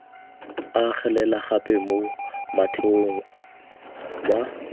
agelela gape mo motheong wa